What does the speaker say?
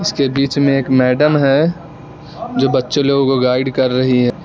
इसके बीच में एक मैडम है जो बच्चे लोगों को गाइड कर रही है।